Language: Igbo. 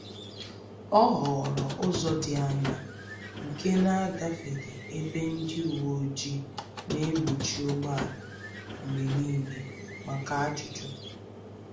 Ọ họọrọ ụzọ dị anya nke na-agafeghị ebe ndị uweojii na-egbochi ụgbọala mgbe niile maka ajụjụ